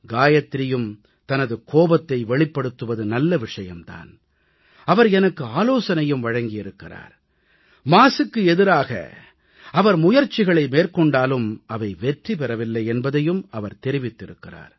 காயத்ரியும் தனது கோபத்தை வெளிப்படுத்துவது நல்ல விஷயம் தான் அவர் எனக்கு ஆலோசனையும் வழங்கி இருக்கிறார் மாசுக்கு எதிராக அவர் முயற்சிகளை மேற்கொண்டாலும் அவை வெற்றி பெறவில்லை என்பதையும் அவர் தெரிவித்திருக்கிறார்